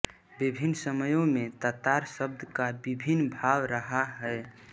विभिन्न समयों में तातार शब्द का विभिन्न भाव रहा है